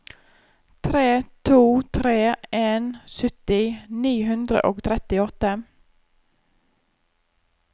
tre to tre en sytti ni hundre og trettiåtte